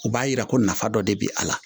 U b'a jira ko nafa dɔ de bɛ a la